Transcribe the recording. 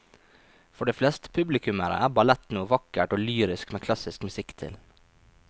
For de fleste publikummere er ballett noe vakkert og lyrisk med klassisk musikk til.